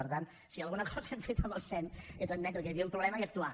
per tant si alguna cosa hem fet amb el sem és admetre que hi havia un problema i actuar